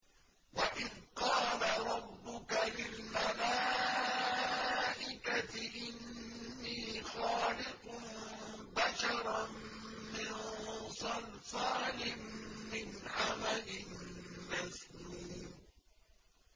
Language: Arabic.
وَإِذْ قَالَ رَبُّكَ لِلْمَلَائِكَةِ إِنِّي خَالِقٌ بَشَرًا مِّن صَلْصَالٍ مِّنْ حَمَإٍ مَّسْنُونٍ